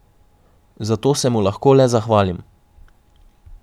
Za to se mu lahko le zahvalim.